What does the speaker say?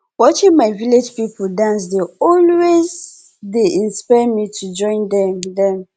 watching my village people dance dey always dey inspire me to join dem dem